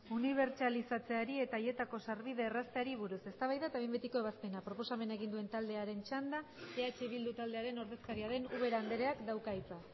unibertsalizatzeari eta haietako sarbidea errazteari buruz eztabaida eta behin betiko ebazpena proposamena egin duen taldearen txanda eh bildu taldearen ordezkaria den ubera andreak dauka hitza